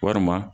Walima